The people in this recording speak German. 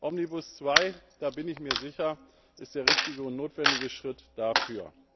Omnibus II, da bin ich mir sicher, ist der richtige und notwendige Schritt dafür.